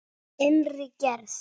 Innri gerð